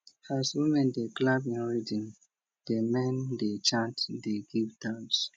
as women dey clap in rhythm di men dey chant dey give thanks